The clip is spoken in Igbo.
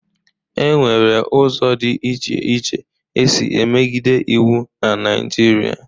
E nwere ụzọ dị iche iche e si emegide iwu na Naịjirịa.